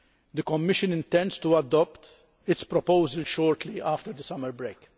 The Commission intends to adopt its proposal shortly after the summer break.